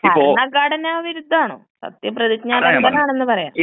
ഭരണഘടന വിരുദ്ധാണൊ? സത്യ പ്രതിജ്ഞ ലംഘനമാണെന്ന് പറയാം.